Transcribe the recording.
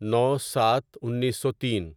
نو سات انیسو تین